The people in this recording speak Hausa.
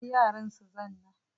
Bari yaran su zanna